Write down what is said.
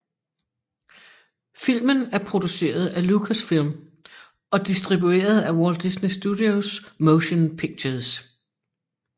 Filmen er produceret af Lucasfilm og distribueret af Walt Disney Studios Motion Pictures